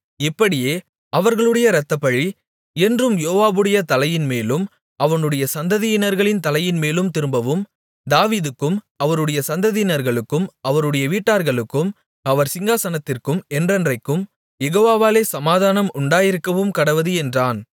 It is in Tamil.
இப்படியே அவர்களுடைய இரத்தப் பழி என்றும் யோவாபுடைய தலையின்மேலும் அவனுடைய சந்ததியினர்களின் தலையின்மேலும் திரும்பவும் தாவீதுக்கும் அவருடைய சந்ததியினர்களுக்கும் அவருடைய வீட்டார்களுக்கும் அவர் சிங்காசனத்திற்கும் என்றென்றைக்கும் யெகோவாவாலே சமாதானம் உண்டாயிருக்கவும்கடவது என்றான்